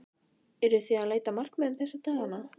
Eruð þið að leita að leikmönnum þessa dagana?